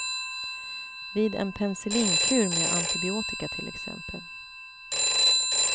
Vid en pencillinkur med antibiotika till exempel.